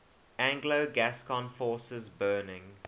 anglo gascon forces burning